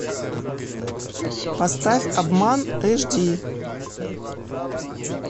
поставь обман эш ди